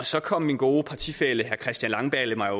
så kom min gode partifælle herre christian langballe mig